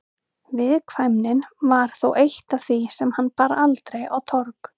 Viðkvæmnin var þó eitt af því sem hann bar aldrei á torg.